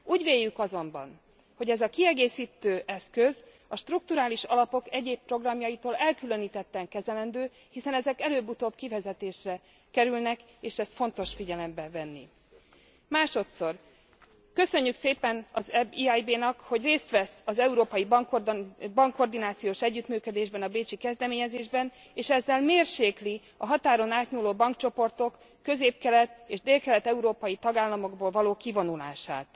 Úgy véljük azonban, hogy ez a kiegészítő eszköz a strukturális alapok egyéb programjaitól elkülönítetten kezelendő, hiszen ezek előbb utóbb kivezetésre kerülnek és ezt fontos figyelembe venni. Másodszor köszönjük szépen az EIB nak, hogy részt vesz az európai bankkoordinációs együttműködésben, a bécsi kezdeményezésben és ezzel mérsékli a határon átnyúló bankcsoportok közép kelet és dél kelet európai tagállamokból való kivonulását.